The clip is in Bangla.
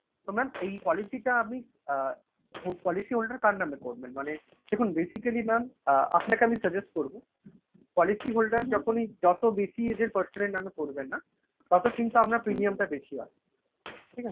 তো mam এই policy টা আপনি অ্যা policy holder কার নামে করবেন? মানে দেখুন basically mam আপনাকে আমি suggest করবো policy holder যখনই যত বেশি age এর person এর নামে করবেন না তত কিন্তু আপনার premium টা বেশি হবে। ঠিক আছে?